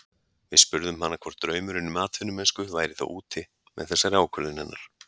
Við spurðum hana hvort draumurinn um atvinnumennsku væri þá úti með þessari ákvörðun hennar?